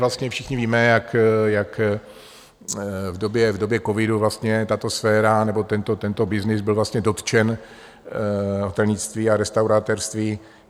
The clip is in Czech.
Vlastně všichni víme, jak v době covidu vlastně tato sféra nebo tento byznys byl vlastně dotčen - hotelnictví a restauratérství.